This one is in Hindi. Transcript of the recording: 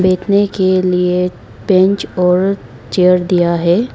बैठने के लिए बेंच और चेयर दिया है।